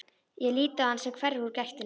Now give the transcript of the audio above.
Ég lít á hann sem hverfur úr gættinni.